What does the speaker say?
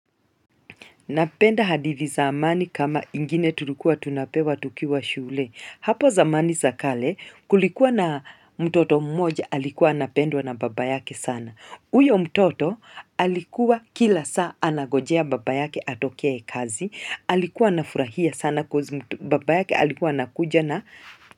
Napenda hadithi za amani kama ingine tulikuwa tunapewa tukiwa shule. Hapo zamani za kale kulikuwa na mtoto mmoja alikuwa anapendwa na baba yake sana. Huyo mtoto alikuwa kila saa anangojea baba yake atoke kazi. Alikuwa anafurahia sana coz babake alikuwa anakuja na.